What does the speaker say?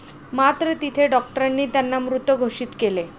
मात्र, तिथे डॉक्टरांनी त्यांना मृत घोषित केले.